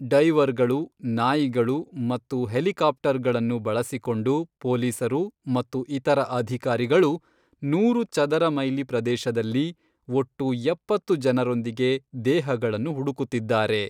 ಡೈವರ್ಗಳು, ನಾಯಿಗಳು ಮತ್ತು ಹೆಲಿಕಾಪ್ಟರ್ಗಳನ್ನು ಬಳಸಿಕೊಂಡು ಪೊಲೀಸರು ಮತ್ತು ಇತರ ಅಧಿಕಾರಿಗಳು, ನೂರು ಚದರ ಮೈಲಿ ಪ್ರದೇಶದಲ್ಲಿ ಒಟ್ಟು ಎಪ್ಪತ್ತು ಜನರೊಂದಿಗೆ, ದೇಹಗಳನ್ನು ಹುಡುಕುತ್ತಿದ್ದಾರೆ.